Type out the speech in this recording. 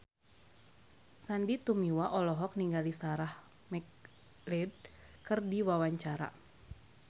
Sandy Tumiwa olohok ningali Sarah McLeod keur diwawancara